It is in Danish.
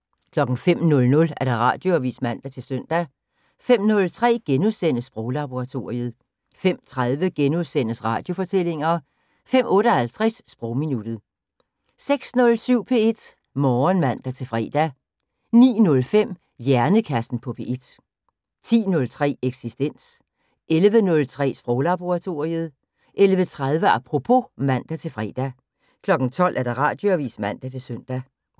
05:00: Radioavis (man-søn) 05:03: Sproglaboratoriet * 05:30: Radiofortællinger * 05:58: Sprogminuttet 06:07: P1 Morgen (man-fre) 09:05: Hjernekassen på P1 10:03: Eksistens 11:03: Sproglaboratoriet 11:30: Apropos (man-fre) 12:00: Radioavis (man-søn)